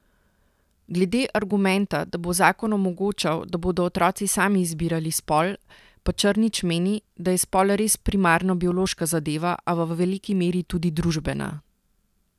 Glede argumenta, da bo zakon omogočal, da bodo otroci sami izbirali spol, pa Črnič meni, da je spol res primarno biološka zadeva, a v veliki meri tudi družbena.